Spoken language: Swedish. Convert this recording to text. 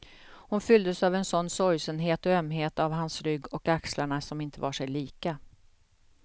Hon fylldes av en sådan sorgsenhet och ömhet av hans rygg och axlarna som inte var sig lika.